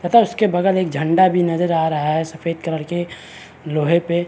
पता उसके बगल एक झंडा भी नज़र आ रहा है सफ़ेद कलर के लोहे पे--